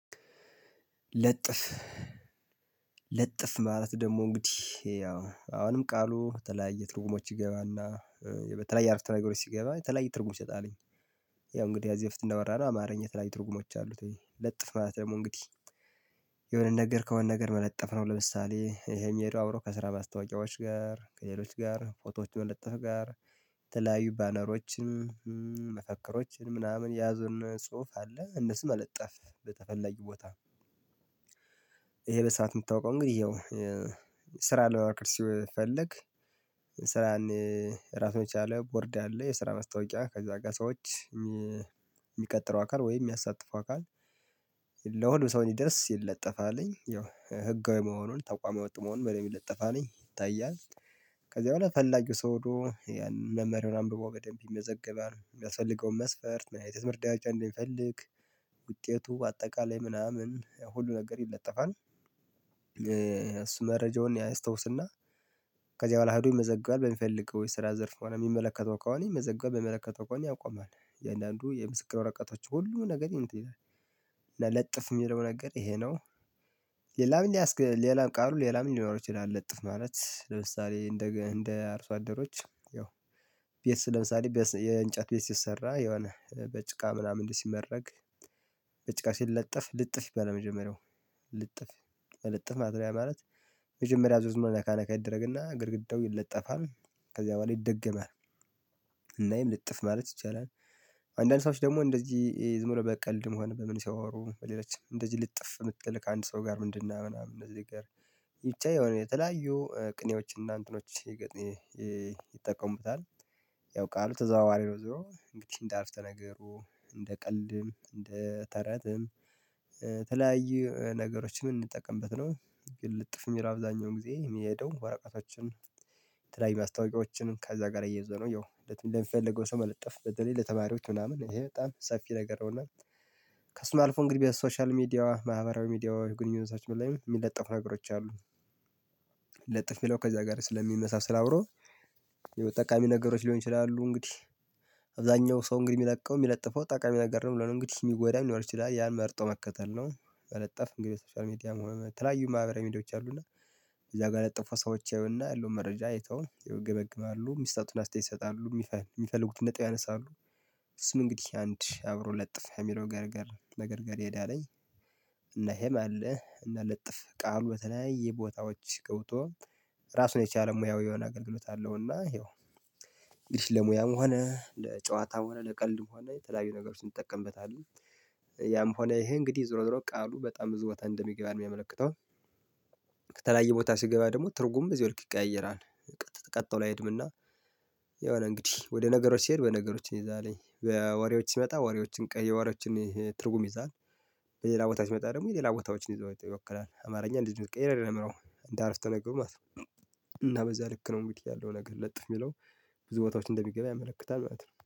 ልጥፍ ልጥፍ ማለት ደግሞ እንግዲህ ያው አሁንም ቃሉ የተለያየ ትርጉሞች ይገባና በተለያየ አርፍተ ነገሮች ሲገባ የተለያዩ ትርጉም ይሰጣልኝ። ያው እንግዲህ ከዚህ በፊት እንዳወራነው አማርኛ የተለያዬ ትርጉሞች አሉት ወይ? ለጥፍ ማለት ደግሞ እንግዲህ የሆነን ነገር ከሆነ ነገር መለጠፍ ነው። ለምሳሌ ይሄ የሚሄደው አብሮ ከስራ ማስታወቂያዎች ጋር ከሌሎች ጋር ፎቶዎችን ለጥፍ ጋር ከተለያዩ ባነሮችን መፈክሮችን ምናምን የያዙን ጽሁፍ አለ እነሱን መለጠፍ በተፈለገ ቦታ። ይሄ በሰአት የምታውቀው እንግዲህ ይኸው ስራ ልማክር ሲፈልግ። ራሳቸውን የቻለ ቦርድ አለ የስራ ማስታወቂያ ከዛ ጋር ሰዎች የሚቀጥረው አካል ወይ የሚያሳትፈው አካል ለሁሉም ሰው እንዲደርስ ይለጠፋልኝ። ያው ህጋዊ መሆኑን ተቋማዊ ወጥሞን በደንብ ለጠፋ ነኝ ይታያል። ከዚያ በኋላ ፈላጊው ሰው ሄዶ ያንን መመሪያውን አንብቦ በደንብ ይመዘገባል የሚያስፈልገውን መስፈርት ምን አይነት መርዳት እንደሚፈልግ። ውጤቱ አጠቃላይ ምናምን ሁሉ ነገር ይለጠፋል። እሱ መረጃውን ያ ያስታውስና ከዚያ በኋላ ሄዶ ይመዘግባል በሚፈልገው የስራ ዘርፍ ሆነ የሚመለከተው ከሆነ የሚመዘገበው በመለከተው እቃውን ያቆማል የእያንዳንዱ የምስክር ወረቀቶች ሁሉ ነገር ይሄዳል። ለለጥፍ የሚለው ነገር ይሄ ነው። ሌላ ምን ያስክ ሌላ ቃሉ ሌላ ምን ይኖራቸው ይላል ለጥፍ ማለት ለምሳሌ እንደ እንደ አርሶ አደሮች ያው ቤት ለምሳሌ የእንጨት ቤት ሲሰራ የሆነ በጭቃ ምናምን ሲመረግ ወጥ መሆን በደንብ ለጠፋ ነኝ ይታያል። ከዚያ በኋላ ፈላጊው ሰው ሄዶ ያንን መምህር ምናምን ብሎ በደንብ ይመዘገባል የሚያስፈልገውን መስፈርት ምን አይነት መርዳት እንደሚፈልግ ውጤቱ አጠቃላይ ምናምን ሁሉ ነገር ይለጠፋል። ለጥፍ ማድሪያ መጀመሪያ ዙር መነካ ነካ ይደረግና ግድግዳው ይለጠፋል ከዚያ በኋላ ይደገማል። እና ይሄን ልጥፍ ማለት ይቻላል። አንዳንዶች ደግሞ እንደዚህ ዝም ብሎ በቀልድም ሆነ በምን ሲያወሩ በሌላችን እንደዚህ ልጥፍ የምትል ከአንድ ሰው ጋር ምንድነው ምናምን እነዚህ ጋር። ብቻ የሆነ የተለያዩ ቅኔዎች እና እንትኖች ይጠቀሙታል። ያው ቃሉ ተዘዋዋሪ ነው ዞሮ እንግዲህ እንደ አረፍተ ነገሩ እንደ ቀልድም እንደ ተረትም ተለያዩ ነገሮችን እንጠቀምበት ነው። ግን ልጥፍ የሚል አብዛኛውን ጊዜ የሚሄደው ወረቀቶችን የተለያዩ ማስታወቂያዎችን ከዛ ጋር አያይዞ ነው። ያው እንደምፈልገው ሰው መለጠፍ በተለይ ለተማሪዎች ምናምን ይሄ በጣም ሰፊ ነገር ነውና እና ከሱም አልፎ እንግዲህ በሶሻል ሚዲያዋ ማህበራዊ ሚዲያዋ ግንኙነታችን በላይ የሚለጠፉ ነገሮች አሉ። ለጥፍ የሚለው ከዚያ ጋር ስለሚመሳሰል አብሮ የጠቃሚ ነገሮች ሊሆን ይችላሉ። እንግዲህ አብዛኛው ሰው እንግዲህ የሚለቀው የሚለጥፈው ጠቃሚ ነገር ነው ብሎ ነው እንግዲህ የሚጎዳ ሊኖር ይችላል ያን መርጦ መከተል ነው። መለጠፍ እንግዲህ ሶሻል ሚዲያ መሆን ተለያዩ ማህበራዊ ሚዲያዎች አሉና። እዛ ጋር ለጠፉ ሰዎች አዩና ያለው መረጃ አይተው ይገመግማሉ ሚሰጡትን አስተያየት ይሰጣሉ የሚፈልጉትን ነጥብ ያነሳሉ። ስም እንግዲህ አንድ አብሮ ለጥፋ የሚለው ገረገር ነገር ገረገር ይሄዳለኝ። እና ሄማል እና ለጥፍ ቃሉ በተለያየ ቦታዎች ገብቶ ራሱን የቻለ ሙያዊ የሆነ አገልግሎት አለው። እና ይኸው እንግዲህ ለሙያም ሆነ ለጨዋታም ሆነ ለቀልድም ሆነ የተለያዩ ነገር ውስጥ ይጠቀምበታል። ያም ሆነ ይሄ እንግዲህ ዞሮ ዞሮ ቃሉ በጣም ብዙ ወታ እንደሚገባን የሚያመለክተው። ከተለያየ ቦታ ሲገባ ደግሞ ትርጉም እዚህ ወርቅ ይቀያየራል። ቀጥቶ ላይ አይሄድምና። የሆነ እንግዲህ ወደ ነገሮች ሲሄድ በነገሮችን ይዛልኝ በወሬዎች ሲመጣ ወሬዎችን ቀይ ወሬዎች ትርጉም ይዛል። በሌላ ቦታ ሲመጣ ደግሞ የሌላ ቦታዎችን ይዘው ይወክላል። አማርኛ እንዲህ እንዲህ እንዲህ አረፍተነገሩ ማለት ነው። እና በዛ ልክ ነው የምትለው ነገር ለጥፍ የሚለው ብዙ ቦታዎች እንደሚገባ ያመለክታል ማለት ነው